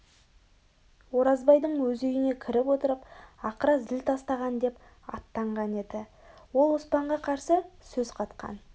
оразбайдың өз үйіне кіріп отырып ақыра зіл тастаған деп аттанған еді ол оспанға қарсы сөз қатқан